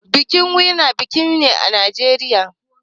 Binkin Wema banki ne a Najeriya.